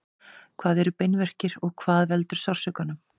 hvað eru beinverkir og hvað veldur sársaukanum